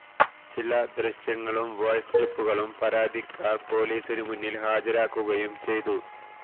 ചില ദൃശ്യങ്ങളും വോയ്സ് ക്ലിപ്പുകളും പരാതിക്കാര് പൊലീസിനു മുന്നില് ഹാജരാക്കുകയും ചെയ്തു